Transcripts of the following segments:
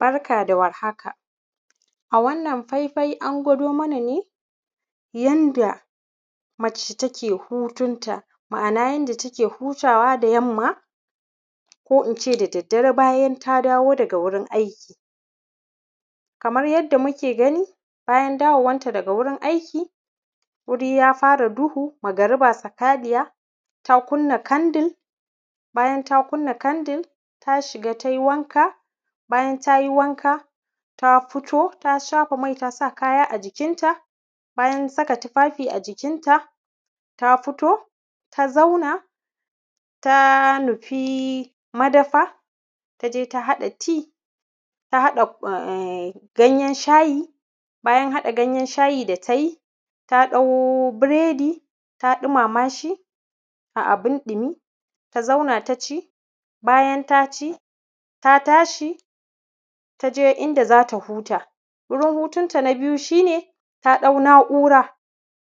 barka da war haka a wannan fai fai an gwado mana ne yanda mace ta ke hutun ta ma’ana yanda ta ke hutawa da yamma ko ince da daddare bayan ta dawo daga wurin aiki kamar yadda muke gani bayan dawowan ta daga wurin aiki wuri ya fara duhu magariba sakaliyya ta kunna kandir bayan ta kunna kandir ta shiga tai wanka bayan ta yi wanka ta fito ta shafa mai ta sa kaya a jikinta bayan saka tufafi a jikinta ta fito ta zauna ta nufi madafa ta je ta haɗa tea ta haɗa ganyen shayi bayan haɗa ganyen shayi da ta yi ta ɗau biredi ta ɗumama shi a abin ɗimi ta zauna ta ci bayan ta ci ta tashi ta je inda za ta huta wurin hutun ta na biyu shine ta ɗau na’ura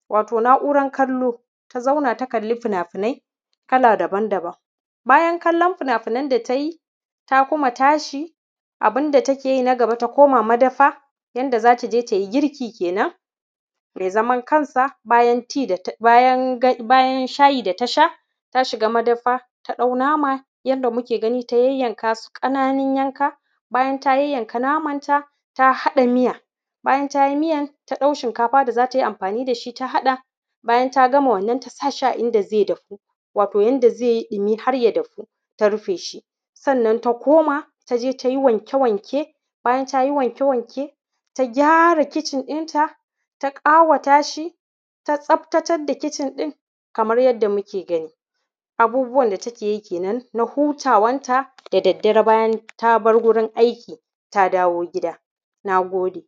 wato na’uran kallo ta zauna ta kalli finafinai kala daban daban bayan kallan finafinan da ta yi ta kuma tashi abunda ta ke yi na gaba ta koma madafa yanda za ta je tai girki kenan mai zaman kansa bayan shayi da ta sha ta shiga madafa ta ɗau nama yanda muke gani ta yayyanka su ƙananun yanka bayan ta yayyanka namanta ta haɗa miya bayan ta yi miyan ta ɗau shinkafa da za ta yi da shi ta haɗa bayan ta gama wannan ta sa shi a inda zai dafu wato yanda zai yi ɗimi har ya dafu ta rufe shi sannan ta koma ta je ta yi wanke wanke bayan ta yi wanke wanke ta gyara kicin dinta ta ƙawata shi ta tsaftacedda kicin ɗin kamar yadda muke gani abubuwan da take yi kenan na hutawan ta da daddare bayan ta bar wurin aiki ta dawo gida na gode